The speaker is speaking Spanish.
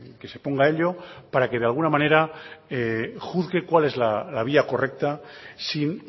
que se ponga a ello para que de alguna manera juzgue cuál es la vía correcta sin